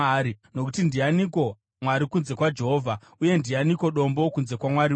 Nokuti ndianiko Mwari kunze kwaJehovha? Uye ndianiko Dombo kunze kwaMwari wedu?